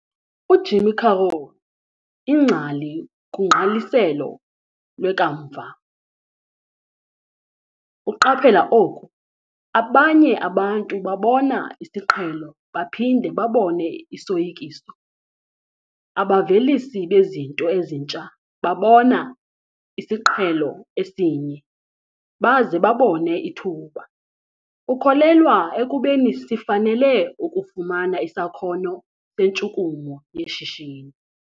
UJim Carroll ingcali kugqaliselo lwekamva uqaphela oku, 'Abanye abantu babona isiqhelo - baphinde babone isoyikiso. Abavelisi bezinto ezintsha babona isiqhelo esinye - baze babone ithuba.' Ukholelwa ekubeni sifanele ukufumana 'isakhono sentshukumo yeshishini'.